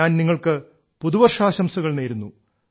ഞാൻ നിങ്ങൾക്ക് പുതുവർഷാംശംസകൾ നേരുന്നു